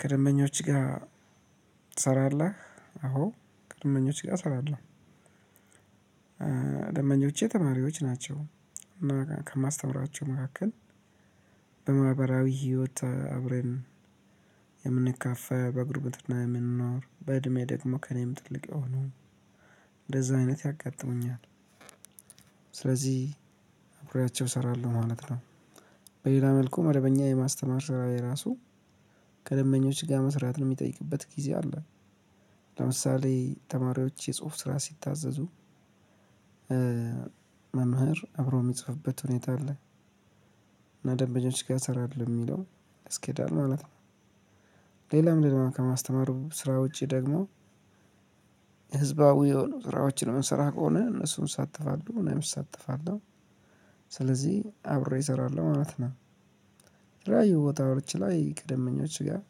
ከደንበኞች ጋር ትሰራለህ? አዎ ከደመብኞች ጋር እሰራለሁ። ደንበኞቼ ተማሪዎች ናቸው። ከማስተምራቸው መካከል በማህበራዊ ህይወት አብረን የምንካፈል በጉርብትና የምንኖር በእድሜ ደግሞ ከእኔም ትልቅ የሆኑ እንደዛ አይነት ያጋጥሙኛል። ስለዚህ አብሬያቸው እሰራለሁ ማለት ነው። በሌላ መልኩ መደበኛ የማስተማር ሰራዬ እራሱ ከደንበኞች ጋር መስራትን የሚጠይቅበት ጊዜ አለ። ለምሳሌ ተማሪዎች የጽሁፍ ስራ ሲታዘዙ መምህር አብሮ የሚጽፍበት ሁኔታ አለ። እና ከደምበኞች ጋር ትሰራለሁ የሚለው ያስኬዳል ማለት ነው። ሌላም ሌላም ከማስተማሩ ስራ ውጪ ደግሞ ህዝባዊ የሆኑ ስራዎችን እምንስራ ከሆነ እነሱን እሳተፋለሁ እኔም እሳተፋለሁ። ስለዚህ አብሬ እሰራለሁ ማለት ነው። የተለያዩ ቦታዎች ላይ ከደምበኞች ጋር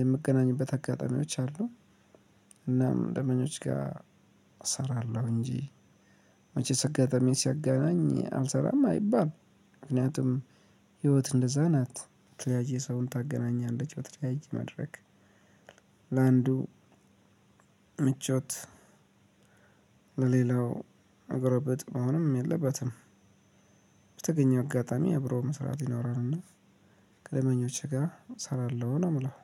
የምገናኝበት አጋጣሚዎች አሉ። እናም ደምበኞች ጋር እሰራለሁ እንጂ መቼስ አጋጣሚ ሲያገናኝ አልሰራም አይባልም። ምክንያቱም ህይወት እንደዛ ናት በተለያዬ ሰውን ታገናኛለች በተለያዬ መድረክ። ለአንዱ ምቾት ለሌላው መጎርበጥ መሆንም የለበትም። በተገኘው አጋጣሚ አብሮ መስራት ይኖራል እና ከደምበኞቼ ጋር እሰራለሁ ነው የምለው።